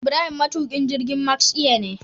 Ibrahim matukin jirgin Max air ne